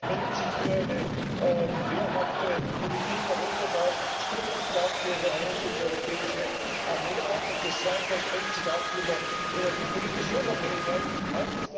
Er spricht sich für eine wehrhafte Politik Europas aus. Spricht er sich auch für eine einheitliche europäische Armee aus? Und das Zweite Er spricht sich auch für mehr energiepolitische Unabhängigkeit aus.